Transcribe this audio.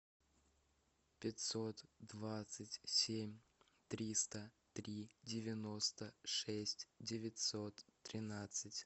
пятьсот двадцать семь триста три девяносто шесть девятьсот тринадцать